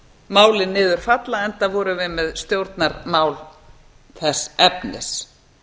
málið niður falla enda vorum við með stjórnarmál þess efnis